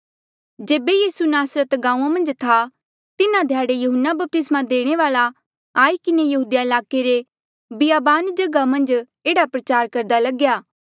जेबे यीसू नासरत गांऊँआं मन्झ था तिन्हा ध्याड़े यहून्ना बपतिस्मा देणे वाल्ऐ आई किन्हें यहूदिया ईलाके रे बियाबान जगहा मन्झ एह्ड़ा प्रचार करदा लग्या